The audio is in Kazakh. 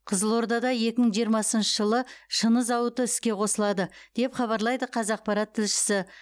қызылордада екі мың жиырмасыншы жылы шыны зауыты іске қосылады деп хабарлайды қазақпарат тілшісі